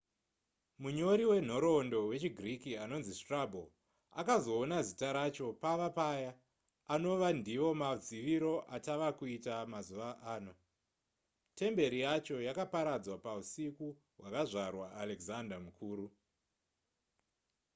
munyori wenhoroondo wechigiriki anonzi strabo akazoona zita racho pava paya anova ndivo maziviro atava kuita mazuva ano temberi yacho yakaparadzwa pausiku hwakazvarwa alexander mukuru